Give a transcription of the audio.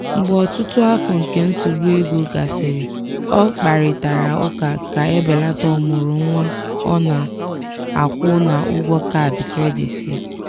mgbe ọtụtụ afọ nke nsogbu ego gasịrị ọ kparịtara ụka ka e belata ọmụrụ nwa ọ na-akwụ na ụgwọ kaadị kredit ya.